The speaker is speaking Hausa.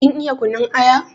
Kin iya kunun aya?